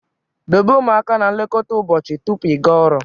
Dobe ụmụaka na nlekọta ụbọchị tupu ịga ọrụ